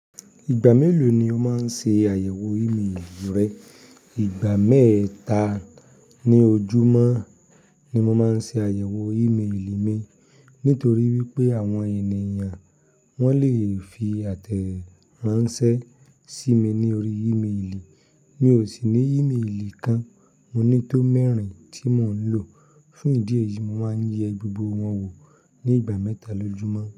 Ìgbà mélòó ni o máa ń ṣe àyẹ̀wò ímélì rẹ? Ìgbà mẹ́ta ní ojúmọ́ ni mo máa ń ṣe àyẹ̀wò ímélì mi. Nítorí wípé àwọn ènìyàn wọ́n le fi àtẹ̀ránsẹ́ sí mi ní orí ímélì. Mi ò sì ní ímélì kan, mo ní tó mẹ́rin tí mò ń lò. Fún ìdí èyí, mo máa ń yẹ gbogbo wọn wò ní ìgbà mẹ́ta lójúmọ́.